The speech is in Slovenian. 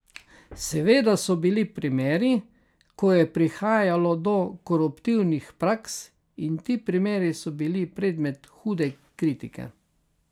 Seveda so bili primeri, ko je prihajalo do koruptivnih praks, in ti primeri so bili predmet hude kritike.